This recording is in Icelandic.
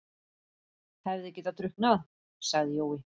Hefði getað drukknað, sagði Jói.